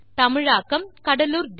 பார்த்தமைக்கு நன்றி